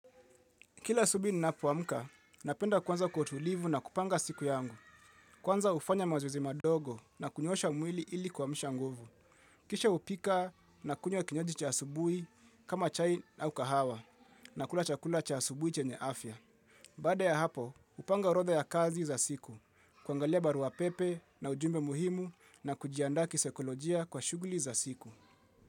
Kila asubui ninapowamka, napenda kwanza kwa utulivu nakupanga siku yangu. Kwanza ufanya mazoezi madogo na kunyosha mwili ili kwamsha nguvu. Kisha upika na kunywa kinyoji cha asubui kama chai au kahawa na kula chakula cha asubui chenye afya. Bada ya hapo, upanga orodha ya kazi za siku, kwangalia baruapepe na ujumbe muhimu na kujianda kiseikolojia kwa shuguli za siku.